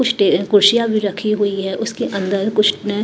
कुछ टे कुर्शियां भी रखी हुई है उसके अंदर कुछ ने--